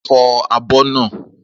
Fọ àbọ̀ naa!